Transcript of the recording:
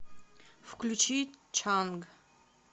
включи чанг